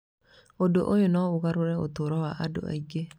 Ũndũ ũyũ no ũgarũre ũtũũro wa andũ aingĩ.